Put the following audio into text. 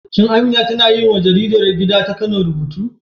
Shin Amina tana yiwa jaridar gida ta Kano rubutu?